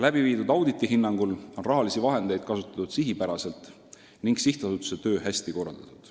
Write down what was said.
Läbiviidud auditi hinnangul on raha kasutatud sihipäraselt ning sihtasutuse töö hästi korraldatud.